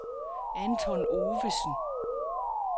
Anton Ovesen